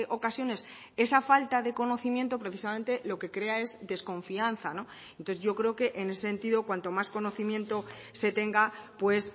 ocasiones esa falta de conocimiento precisamente lo que crea es desconfianza no entonces yo creo que en ese sentido cuanto más conocimiento se tenga pues